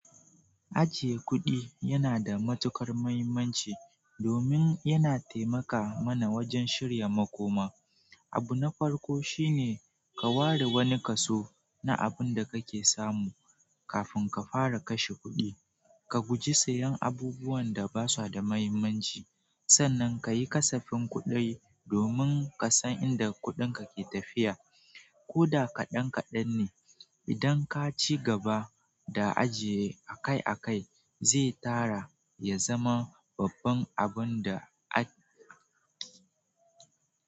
Ajiye kuɗi yana da matuƙar mahimmanci domin yana taimaka mana wajen shirya makoma. Abu na farko shine ka ware wani kaso na abin da kake samu kafin ka fara kashe kuɗi. Ka guji siyan abubuwan da basu da mahimmanci, sannan kayi kasafin kuɗi domin kasan inda kuɗinka ke tafiya. Koda kaɗan kaɗan ne, idan kaci gaba da ajiye akai akai, zai tara ya zama babban abunda a.